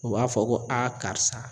U b'a fɔ ko karisa